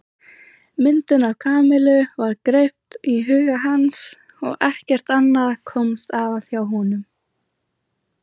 Myndin af Kamillu var greipt í huga hans og ekkert annað komst að hjá honum.